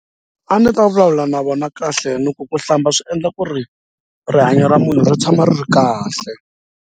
A ni ta vulavula na vona kahle loko ku hlamba swi endla ku ri rihanyo ra munhu ri tshama ri ri kahle.